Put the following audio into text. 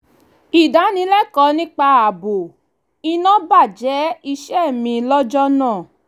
ìdánilẹ́kọ̀ọ́ nípa ààbò iná baje iṣẹ́ mi lọ́jọ́ náà